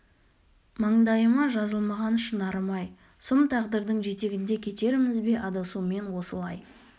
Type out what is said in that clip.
маңдайыма жазылмаған шынарым-ай сұм тағдырдың жетегінде кетерміз бе адасумен осылай